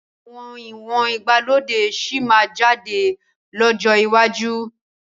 Àwọn ìwọ̀n ìgbàlódé sì máa jáde lọ́jọ́ iwájú